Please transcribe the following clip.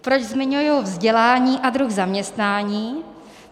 Proč zmiňuji vzdělání a druh zaměstnaní?